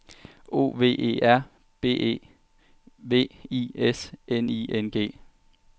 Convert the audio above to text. O V E R B E V I S N I N G